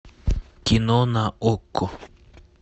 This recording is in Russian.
кино на окко